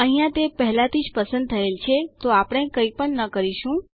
અહિયાં તે પહેલાથીજ પસંદ થયેલ છે તો આપણે કઈપણ ન કરીશું